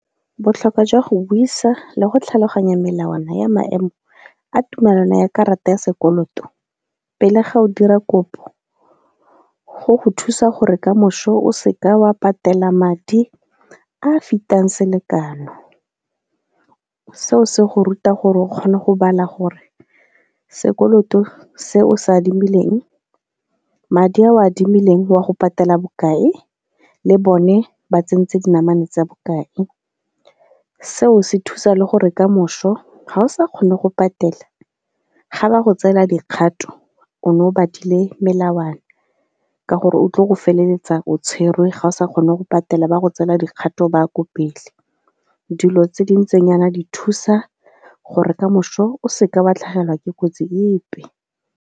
Botlhokwa jwa go buisa le go tlhaloganya melawana ya maemo a tumelano ya karata ya sekoloto pele ga o dira kopo, go go thusa gore kamoso o se ka wa patela madi a a fetang selekano. Seo se go ruta gore o kgone go bala gore sekoloto se o se adimileng, madi a o a adimileng wa go patela bokae le bone ba tsentse dinamane tsa bokae. Seo se thusa le gore ka moso ga o sa kgone go patela ga ba go tseela dikgato o ne o batlile melawana ka gore o tlile go feleletsa o tshwerwe ga o sa kgone go patela ba go tseela dikgato ba ya ko pele. Dilo tse di ntseng jaana di thusa gore ka moso o se ka wa tlhagelwa ke kotsi epe.